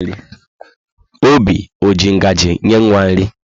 Oby ọ ji ngaji nye nwa nri?